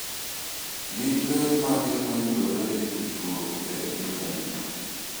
Gin ber mage ma yudore e tudruok e intanet?